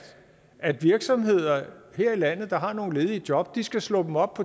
at virksomheder her i landet der har nogle ledige job skal slå dem op